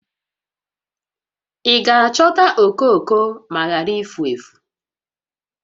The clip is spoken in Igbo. Ị ga-achọta okooko ma ghara ifu efu?